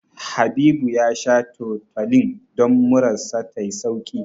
Habibu ya sha Tutolin don murar sa ta yi sauƙi.